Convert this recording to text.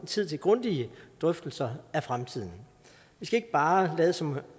tid til grundige drøftelser af fremtiden vi skal ikke bare lade som